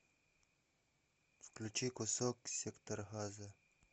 включи кусок сектора газа